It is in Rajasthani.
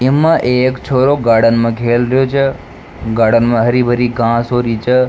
इम्मा एक छोरो गार्डन मा खेल रेहो छ गार्डन मा हरी भरी घास हो री छ।